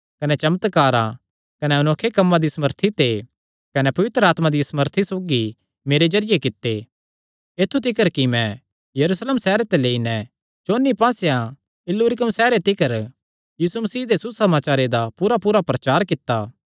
कने चमत्कारां कने अनोखे कम्मां दी सामर्थी ते कने पवित्र आत्मा दिया सामर्थी सौगी मेरे जरिये कित्ते ऐत्थु तिकर कि मैं यरूशलेम सैहरे ते लेई नैं चौंन्नी पास्सेयां इल्लुरिकुम सैहरे तिकर यीशु मसीह दे सुसमाचारे दा पूरापूरा प्रचार कित्ता